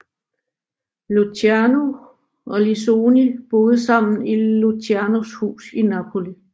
Luciano og Lissoni boede sammen i Lucianos hus i Napoli